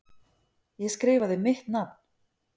Ég skrifaði mitt nafn.